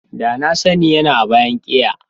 Da na sani yana a bayan keya.